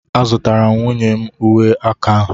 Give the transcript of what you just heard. a zụtara m nwunye m uwe aka a